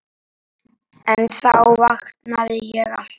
En þá vaknaði ég alltaf.